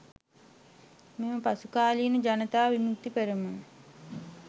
මෙම පසු කාලීන ජනතා විමුක්ති පෙරමුණ